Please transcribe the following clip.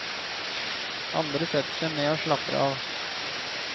Andre setter seg ned og slapper av.